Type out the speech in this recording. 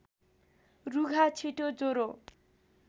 रुघा छिटो ज्वरो